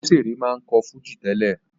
Òbésèré máa ń kọ́ fújì tẹ́lẹ̀